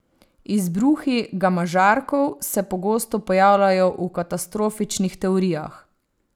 Izbruhi gamažarkov se pogosto pojavljajo v katastrofičnih teorijah.